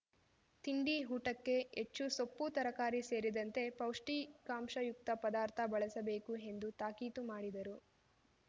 ತಿಂಡಿ ಊಟಕ್ಕೆ ಹೆಚ್ಚು ಸೊಪ್ಪು ತರಕಾರಿ ಸೇರಿದಂತೆ ಪೌಷ್ಟಿಕಾಂಶಯುಕ್ತ ಪದಾರ್ಥ ಬಳಸಬೇಕು ಎಂದು ತಾಕೀತು ಮಾಡಿದರು